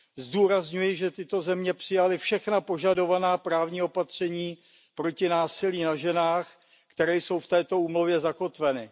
Zdůrazňuji, že tyto země přijaly všechna požadovaná právní opatření proti násilí na ženách, která jsou v této úmluvě zakotvena.